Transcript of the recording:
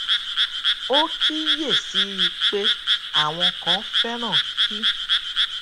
ó kíyèsí i pé àwọn kan féràn kí